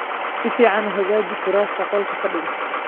Si fiican u hagaaji kuraasta qolka fadhiga.